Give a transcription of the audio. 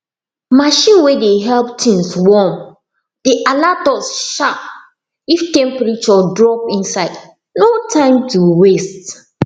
machine way dey help things warm dey alert us sharp if temperature drop inside no time to waste